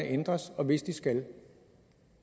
ændres og hvis de skal